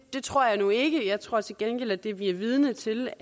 tror jeg nu ikke jeg tror til gengæld at det vi er vidne til